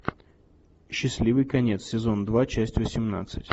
счастливый конец сезон два часть восемнадцать